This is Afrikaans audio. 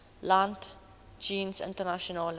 land jeens internasionale